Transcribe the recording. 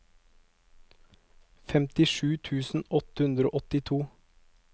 femtisju tusen åtte hundre og åttito